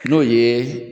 N'o ye